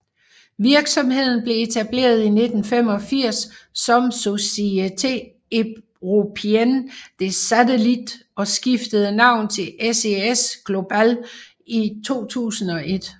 Virksomheden blev etableret i 1985 som Société Européenne des Satellites og skiftede navn til SES Global i 2001